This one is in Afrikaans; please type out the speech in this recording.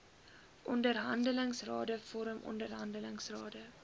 onderhandelingsrade vorm onderhandelingsrade